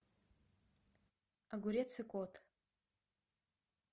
огурец и кот